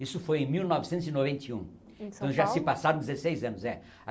Isso foi em mil novecentos e noventa e um, em São Paulo então já se passaram dezesseis anos. é